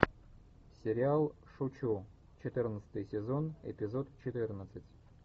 сериал шучу четырнадцатый сезон эпизод четырнадцать